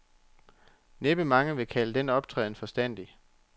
Næppe mange vil kalde den optræden forstandig.